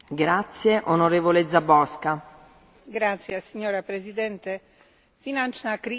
Finančná kríza ukázala nedostatky existujúceho dohľadu nad finančnými inštitúciami.